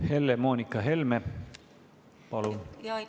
Helle-Moonika Helme, palun!